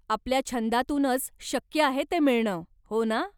आपल्या छंदातूनच शक्य आहे ते मिळणं, हो ना?